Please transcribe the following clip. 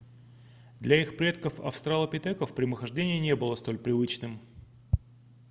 для их предков австралопитеков прямохождение не было столь привычным